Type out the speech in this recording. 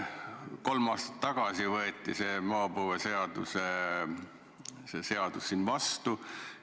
Kolm aastat tagasi võeti see maapõueseadus siin vastu.